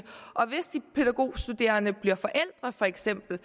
og hvis de pædagogstuderende for eksempel